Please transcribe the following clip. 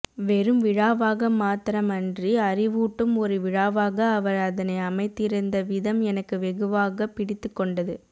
வெறும் விழாவாக மாத்திரமன்றி அறிவூட்டும் ஒரு விழாவாக அவர் அதனை அமைத்திருந்த விதம் எனக்கு வெகுவாகப் பிடித்துக் கொண்டது